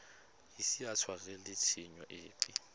ise a tshwarelwe tshenyo epe